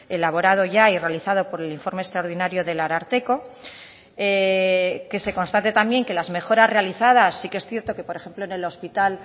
elaborado ya y realizado por el informe extraordinario del ararteko que se constate también que las mejoras realizadas sí que es cierto que por ejemplo en el hospital